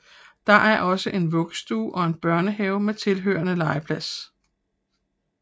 Der er også en vuggestue og en børnehave med tilhørende legeplads